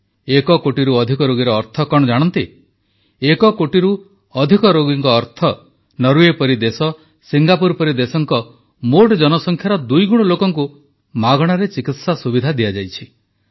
ଏକ କୋଟିରୁ ଅଧିକ ରୋଗୀର ଅର୍ଥ କଣ ଜାଣନ୍ତି ଏକ କୋଟିରୁ ଅଧିକ ରୋଗୀଙ୍କ ଅର୍ଥ ନରୱେ ପରି ଦେଶ ସିଙ୍ଗାପୁର ପରି ଦେଶଙ୍କ ମୋଟ ଜନସଂଖ୍ୟାର ଦୁଇଗୁଣ ଲୋକଙ୍କୁ ମାଗଣାରେ ଚିକିତ୍ସା ସୁବିଧା ଦିଆଯାଇଛି